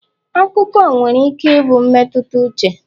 akụkọ nwere ike ịbụ mmetụta uche